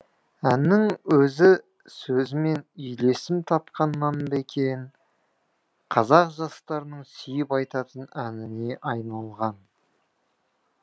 әннің өзі сөзімен үйлесім тапқаннан ба екен қазақ жастарының сүйіп айтатын әніне айналған